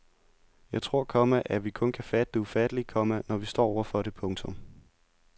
Jeg tror, komma at vi kun kan fatte det ufattelige, komma når vi står over for det. punktum